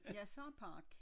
Jeg siger park